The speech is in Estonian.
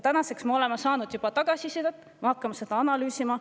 Tänaseks me oleme saanud juba tagasisidet, me hakkame seda analüüsima.